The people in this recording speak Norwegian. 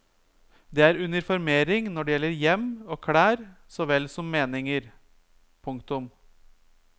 Det er uniformering når det gjelder hjem og klær såvel som meninger. punktum